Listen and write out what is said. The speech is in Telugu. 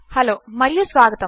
హలో మరియు స్వాగతము